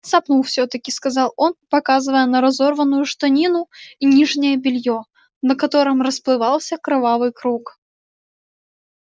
цапнул всё таки сказал он показывая на разорванную штанину и нижнее бельё на котором расплывался кровавый круг